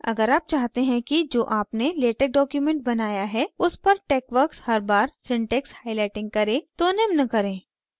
अगर आप चाहते हैं कि जो आपने latex document बनाया है उस पर texworks हर बार syntax highlighting करे तो निम्न करें